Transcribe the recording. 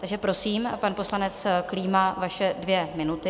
Takže prosím, pan poslanec Klíma, vaše dvě minuty.